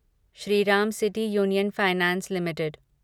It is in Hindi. Shriram city union finance limited